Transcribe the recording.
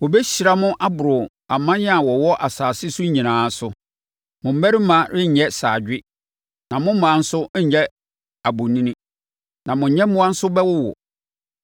Wɔbɛhyira mo aboro aman a wɔwɔ asase so nyinaa so. Mo mmarima renyɛ saadwe, na mo mmaa nso renyɛ abonini, na mo nyɛmmoa nso bɛwowo.